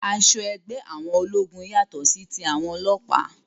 Aṣọ ẹgbẹ́ àwọn ológun yàtọ sí tí àwọn ọlọ́pàá